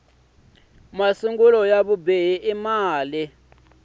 masungulo ya vubihi i mali